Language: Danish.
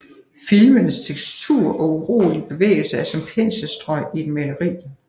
Filmenes tekstur og urolige bevægelser er som penselstrøg i et maleri